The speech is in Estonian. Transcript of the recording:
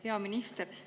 Hea minister!